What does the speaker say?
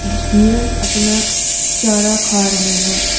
झीरन अपना चारा खा रहे हैं।